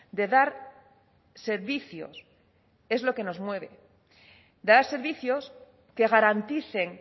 de dar servicios es lo que nos mueve dar servicios que garanticen